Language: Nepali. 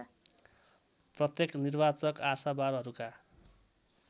प्रत्येक निर्वाचक आशावारहरूका